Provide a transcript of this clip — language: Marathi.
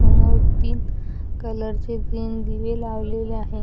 समोर तीन कलर चे तीन दिवे लावलेले आहे.